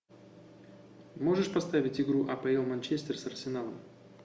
можешь поставить игру апл манчестер с арсеналом